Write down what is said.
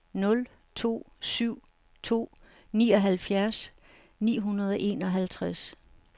nul to syv to nioghalvfjerds ni hundrede og enoghalvtreds